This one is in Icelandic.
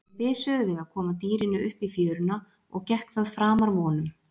Þeir bisuðu við að koma dýrinu upp í fjöruna og gekk það framar vonum.